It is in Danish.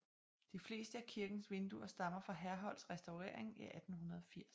De fleste af kirkens vinduer stammer fra Herholdts restaurering i 1880